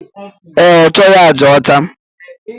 E, ọchọghi aja ọcha